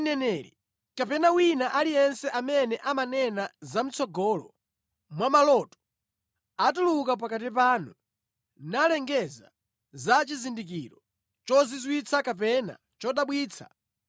Ngati mneneri kapena wina aliyense amene amanena zamʼtsogolo mwa maloto atuluka pakati panu, nalengeza za chizindikiro chozizwitsa kapena chodabwitsa,